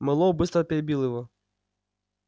мэллоу быстро перебил его